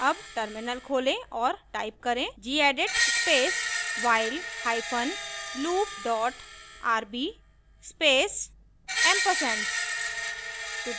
अब टर्मिनल खोलें और टाइप करें gedit space while hyphen loop dot rb space & ampersand